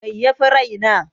Mai yafi rai na?